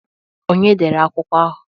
Ọnye dere akwụkwọ ahụ?